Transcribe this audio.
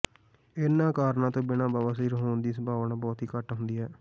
ਇਨ੍ਹਾਂ ਕਾਰਨਾਂ ਤੋਂ ਬਿਨਾਂ ਬਵਾਸੀਰ ਹੋਣ ਦੀ ਸੰਭਾਵਨਾ ਬਹੁਤ ਹੀ ਘੱਟ ਹੁੰਦੀ ਹੈ